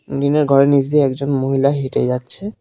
টিনের ঘরের নীচ দিয়ে একজন মহিলা হেঁটে যাচ্ছে।